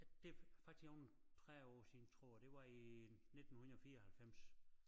Det faktisk om 30 år siden tror jeg det var i 1994